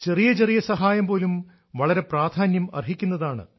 ചെറിയ ചെറിയ സഹായം പോലും വളരെ പ്രാധാന്യം അർഹിക്കുന്നതാണ്